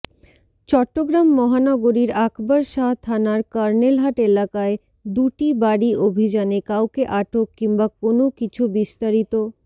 চট্টগ্রাম মহানগরীর আকবর শাহ থানার কর্নেলহাট এলাকায় দুটি বাড়ি অভিযানে কাউকে আটক কিংবা কোনো কিছুবিস্তারিত